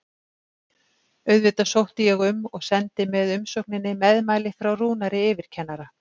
Auðvitað sótti ég um og sendi með umsókninni meðmæli frá Rúnari yfirkennara.